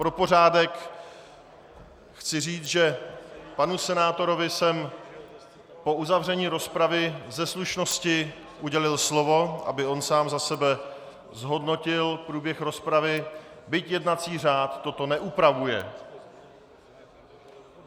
Pro pořádek chci říct, že panu senátorovi jsem po uzavření rozpravy ze slušnosti udělil slovo, aby on sám za sebe zhodnotil průběh rozpravy, byť jednací řád toto neupravuje.